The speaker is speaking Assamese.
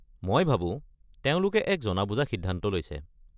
মই ভাবো তেওঁলোকে এক জনা-বুজা সিদ্ধান্ত লৈছে।